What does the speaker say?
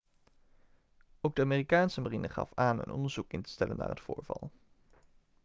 ook de amerikaanse marine gaf aan een onderzoek in te stellen naar het voorval